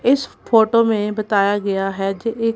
इस फोटो में बताया गया है जे ये--